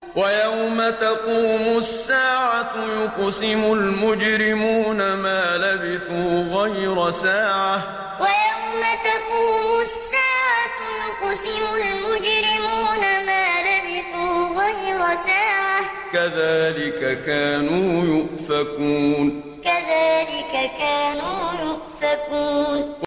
وَيَوْمَ تَقُومُ السَّاعَةُ يُقْسِمُ الْمُجْرِمُونَ مَا لَبِثُوا غَيْرَ سَاعَةٍ ۚ كَذَٰلِكَ كَانُوا يُؤْفَكُونَ وَيَوْمَ تَقُومُ السَّاعَةُ يُقْسِمُ الْمُجْرِمُونَ مَا لَبِثُوا غَيْرَ سَاعَةٍ ۚ كَذَٰلِكَ كَانُوا يُؤْفَكُونَ